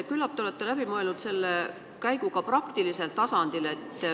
Küllap te olete läbi mõelnud selle käigu ka praktilisel tasandil.